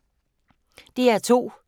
DR2